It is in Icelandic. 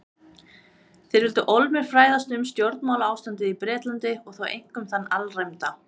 Þeir vildu ólmir fræðast um stjórnmálaástandið í Bretlandi- og þá einkum þann alræmda